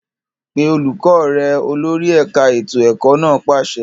Pe olùkọ́ rẹ! Olórí ẹ̀ka ètò ẹ̀kọ́ náà pàṣẹ.